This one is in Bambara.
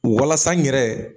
Walasa n yɛrɛ.